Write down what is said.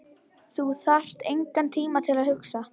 Þú þarft engan tíma til að hugsa.